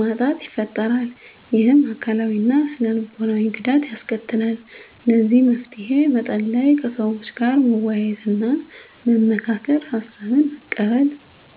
ማጣት ይፈጥራል ይህም አካላዊ እና ስነ ልቦናዊ ጉዳት ያስከትላል ለዚህ መፍትሄ መፀለይ ከሰዎች ጋር መወያየትና መመካከር ሀሳብን መቀበል